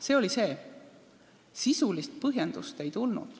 See oli vastus, sisulist põhjendust ei tulnud.